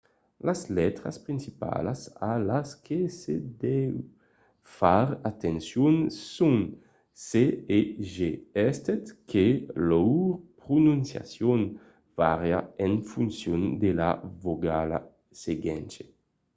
las letras principalas a las que se deu far atencion son c e g estent que lor prononciacion vària en foncion de la vocala seguenta